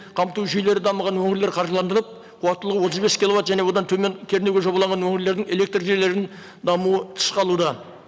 қамту жүйелері дамыған өңірлер қаржыландырылып қуаттылығы отыз бес киловатт және одан төмен кернеуге жобалаған өңірлердің электржүйелерінің дамуы тыс қалуда